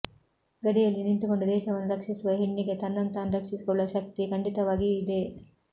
ಗಡಿಯಲ್ಲಿ ನಿಂತುಕೊಂಡು ದೇಶವನ್ನು ರಕ್ಷಿಸುವ ಹೆಣ್ಣಿಗೆ ತನ್ನನ್ನು ತಾನು ರಕ್ಷಿಸಿಕೊಳ್ಳುವ ಶಕ್ತಿ ಖಂಡಿತವಾಗಿಯೂ ಇದೆ